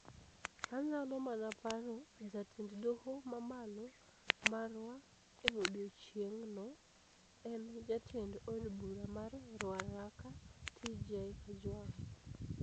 Anyalo mana paro 'jatend doho mamalo'' marwa e odiechieng' no, en jatend od bura mar Ruaraka, TJ Kajwang.